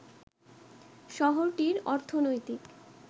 শহরটির অর্থনৈতিক